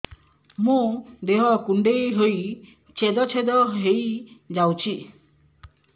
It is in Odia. ମୋ ଦେହ କୁଣ୍ଡେଇ ହେଇ ଛେଦ ଛେଦ ହେଇ ଯାଉଛି